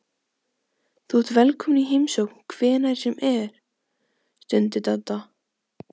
Þú ert velkominn í heimsókn hvenær sem er stundi Dadda.